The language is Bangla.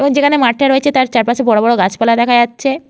এবং যেখানে মাঠটা রয়েছে তার চারপাশে বড় বড় গাছপালা দেখা যাচ্ছে--